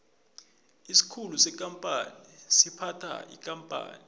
isikhulu sekampani siphatha ikampani